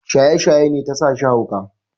Shaye-shaye ne ta sashi hauka.